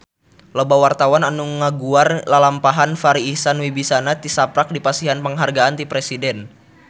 Loba wartawan anu ngaguar lalampahan Farri Icksan Wibisana tisaprak dipasihan panghargaan ti Presiden